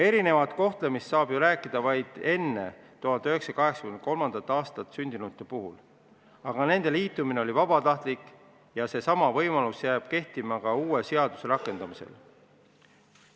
Erinevast kohtlemisest saab ju rääkida vaid enne 1983. aastat sündinute puhul, aga nende liitumine oli vabatahtlik ja see jääb kehtima ka uue seaduse rakendamise korral.